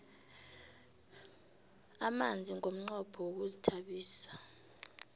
amanzi ngomnqopho wokuzithabisa